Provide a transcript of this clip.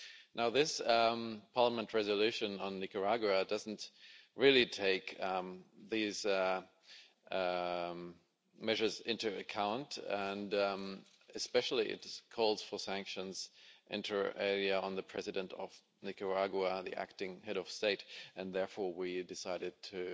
Now, this Parliament resolution on Nicaragua doesn't really take these measures into account, and especially its calls for sanctions, inter alia, on the president of Nicaragua, the acting Head of State, and therefore, we decided to